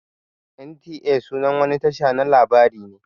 NTA sunan wani Tasha na labari ne.